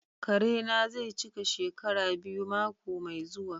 Kare na zai cika shekara biyu mako mai zuwa.